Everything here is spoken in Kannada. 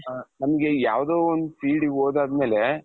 ಹ ನಮ್ಗೆ ಯಾವ್ದೊ ಒಂದು fieldಗೆ ಹೋದಾದ್ಮೇಲೆ,